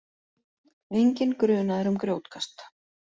Enginn grunaður um grjótkast